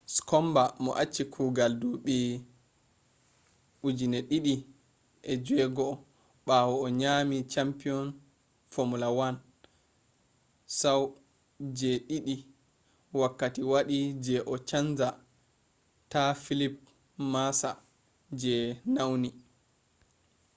skomba mo achi kugal duɓi 2006 ɓawo o nyaami champiyon fomula 1 sau je ɗiɗi wakkati waɗi je o chanja ta felipe masaa je nauni